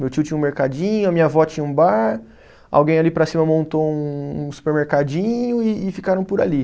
Meu tio tinha um mercadinho, a minha avó tinha um bar, alguém ali para cima montou um um supermercadinho e e ficaram por ali.